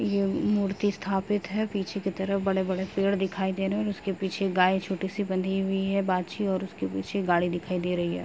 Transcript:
ये मूर्ति स्थापित है पीछे के तरफ बड़े-बड़े पेड़ दिखाई दे रहे हैं और उसके पीछे गाय छोटी सी बंधी हुई है बाछी और उसके पीछे गाड़ी दिखाई दे रही है।